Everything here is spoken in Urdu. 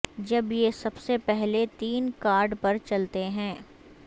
جب یہ سب سے پہلے تین کارڈ پر چلتے ہیں